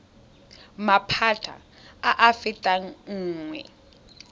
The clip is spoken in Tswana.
maphata a a fetang nngwe